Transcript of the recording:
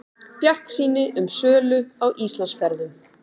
Bjartsýni um sölu á Íslandsferðum